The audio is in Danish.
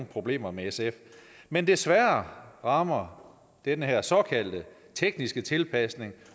problemer med sf men desværre rammer den her såkaldte tekniske tilpasning